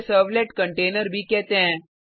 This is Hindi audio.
इसे सर्वलेट कंटेनर भी कहते हैं